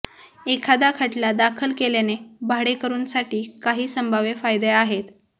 एखाद्या खटला दाखल केल्याने भाडेकरूंसाठी काही संभाव्य फायदे आहेत